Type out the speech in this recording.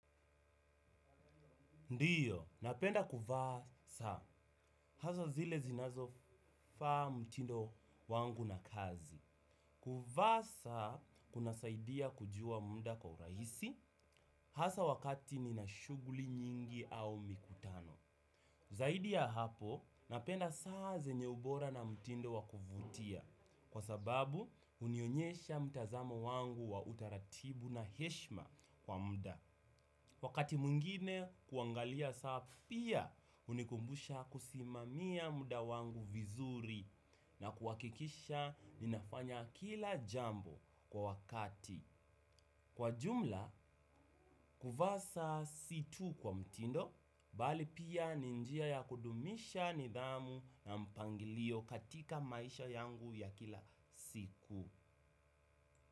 Ndio, napenda kuvaa saa, hasa zile zinazo faa mtindo wangu na kazi. Kuvaa saa, kuna saidia kujua muda kwa urahisi, hasa wakati nina shuguli nyingi au mikutano zaidi ya hapo, napenda saa zenye ubora na mtindo wakuvutia. Kwa sababu, hunionyesha mtazamo wangu wa utaratibu na heshima kwa muda. Wakati mwigine kuangalia saa pia hunikumbusha kusimamia muda wangu vizuri na kuhakikisha ninafanya kila jambo kwa wakati. Kwa jumla, kuvaa saa si tu kwa mtindo, bali pia ni njia ya kudumisha nidhamu na mpangilio katika maisha yangu ya kila siku.